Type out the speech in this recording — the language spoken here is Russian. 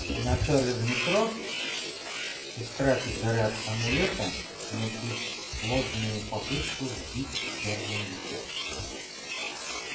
вначале в метро истратив заряд амулета на бесплодную попытку сбить чёрный вихрь